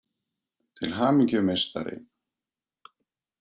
Til hamingju meistari!